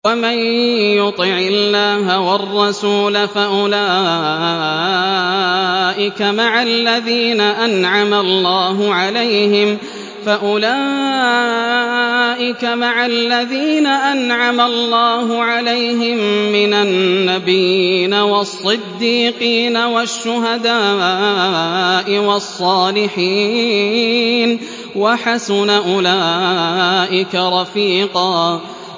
وَمَن يُطِعِ اللَّهَ وَالرَّسُولَ فَأُولَٰئِكَ مَعَ الَّذِينَ أَنْعَمَ اللَّهُ عَلَيْهِم مِّنَ النَّبِيِّينَ وَالصِّدِّيقِينَ وَالشُّهَدَاءِ وَالصَّالِحِينَ ۚ وَحَسُنَ أُولَٰئِكَ رَفِيقًا